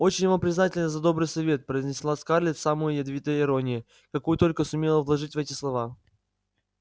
очень вам признательна за добрый совет произнесла скарлетт с самой ядовитой иронией какую только сумела вложить в эти слова